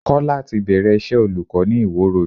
Kọ́lá ti bẹ̀rẹ̀ iṣẹ́ olùkọ́ ni Ìwó Road.